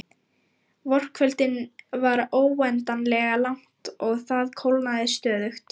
Vorkvöldið var óendanlega langt og það kólnaði stöðugt.